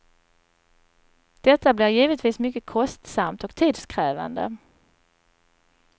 Detta blir givetvis mycket kostsamt och tidskrävande.